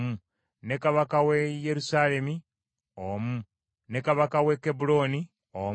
ne kabaka w’e Yerusaalemi omu, ne kabaka w’e Kebbulooni omu,